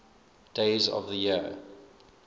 days of the year